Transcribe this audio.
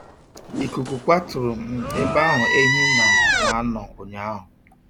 Ikuku kwaturu um ebe ahụ ehi na na anọ unyahu